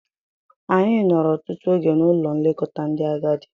Anyị nọrọ ọtụtụ oge n'Ụlọ nlekọta ndị agadi.